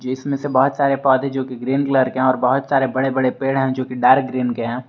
इसमें से बहुत सारे पौधे जो कि ग्रीन कलर के है बहुत सारे बड़े बड़े पेड़ हैं जो कि डार्क ग्रीन के है।